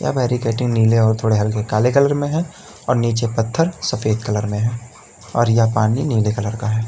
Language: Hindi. ह बैरीकेडिंग नीले और थोड़े हल्के काले कलर में है और नीचे पत्थर सफेद कलर में है और यह पानी नीले कलर का है।